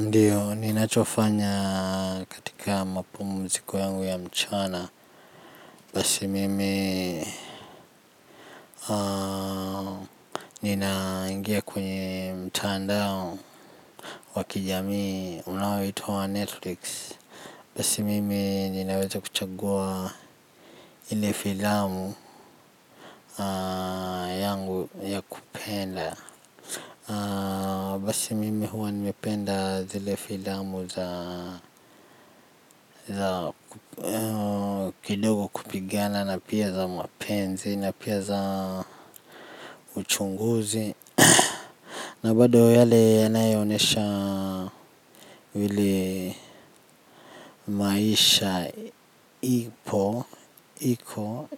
Ndiyo, ninachofanya katika mapumziko yangu ya mchana. Basi mimi. Ninaingia kwenye mtandao wa kijamii, unaoitwa wa netflix. Basi mimi ninaweza kuchagua ile filamu yangu ya kwenda. Basi mimi huwa nimependa zile filamu za za kidogo kupigana na pia za mapenzi na pia za uchunguzi na bado yale yanayoonyesha vile maisha iko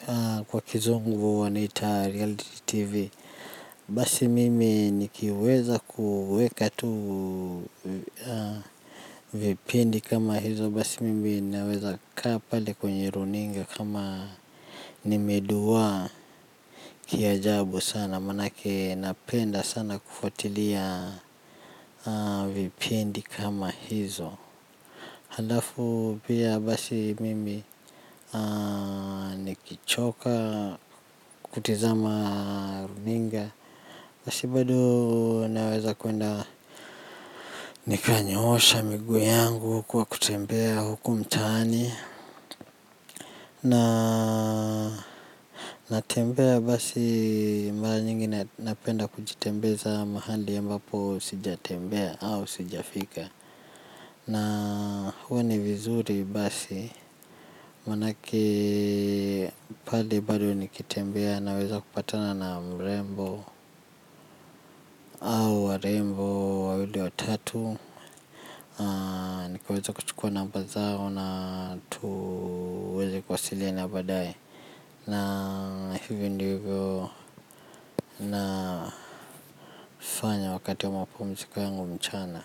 kwa kizungu wanaita reality tv basi mimi nikiweza kuweka tu vipindi kama hizo basi mimi naweza kaa pale kwenye runinga kama nimeduwaa kiajabu sana manake napenda sana kufuatilia vipindi kama hizo. Halafu pia basi mimi nikichoka kutizama runinga. Basi bado naweza kwenda nikanyosha miguu yangu kwa kutembea huku mtaani. Natembea basi mara nyingi napenda kujitembeza mahali ambapo sijatembea au sijafika na huwa ni vizuri basi manake pale bado nikitembea naweza kupatana na mrembo. Au warembo wawili watatu nikiweza kuchukua namba zao na tuweze kuwasiliana baadaye na hivyo ndivyo na fanya wakati wa mapumziko yangu mchana.